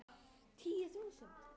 Davíð og Helga.